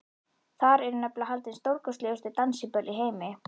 Þar eru nefnilega haldin stórkostlegustu dansiböll í heimi.